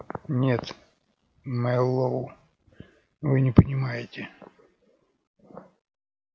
нет мэллоу вы не понимаете